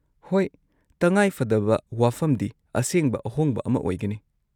-ꯍꯣꯏ, ꯇꯉꯥꯏꯐꯗꯕ ꯋꯥꯐꯝꯗꯤ ꯑꯁꯦꯡꯕ ꯑꯍꯣꯡꯕ ꯑꯃ ꯑꯣꯏꯒꯅꯤ ꯫